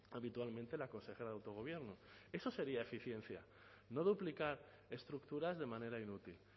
habitualmente la consejera de autogobierno eso sería eficiencia no duplicar estructuras de manera inútil